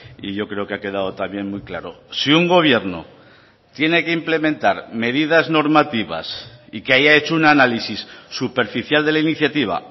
y yo creo que ha quedado también muy claro si un gobierno tiene que implementar medidas normativas y que haya hecho un análisis superficial de la iniciativa